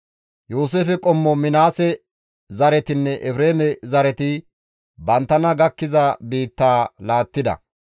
Yooseefe qommo Minaase zaretinne Efreeme zareti banttana gakkiza biittaa laattida.